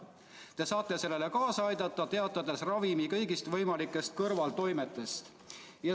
saab sellele kaasa aidata, teatades ravimi kõigist võimalikest kõrvaltoimetest.